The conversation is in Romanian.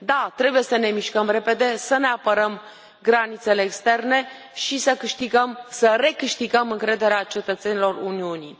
Da, trebuie să ne mișcăm repede, să ne apărăm granițele externe și să recâștigăm încrederea cetățenilor Uniunii.